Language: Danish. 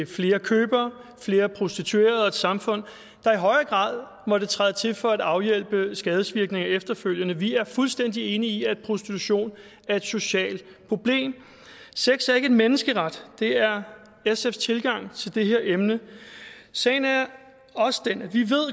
til flere købere flere prostituerede og et samfund der i højere grad måtte træde til for at afhjælpe skadevirkningerne efterfølgende vi er fuldstændig enige i at prostitution er et socialt problem sex er ikke en menneskeret det er sfs tilgang til det her emne sagen er også den at vi